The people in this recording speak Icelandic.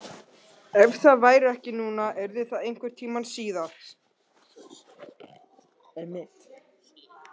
Ef það væri ekki núna yrði það einhvern tíma síðar.